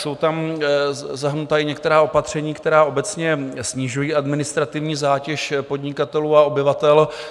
Jsou tam zahrnuta i některá opatření, která obecně snižují administrativní zátěž podnikatelů a obyvatel.